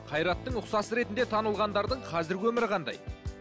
қайраттың ұқсасы ретінде танылғандардың қазіргі өмірі қандай